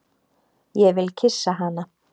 Ég vil kyssa hana.